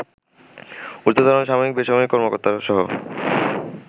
ঊর্ধ্বতন সামরিক- বেসামরিক কর্মকর্তাসহ